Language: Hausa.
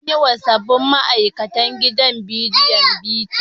An yiwa sabbin ma'aikatn gidan radiyon bita.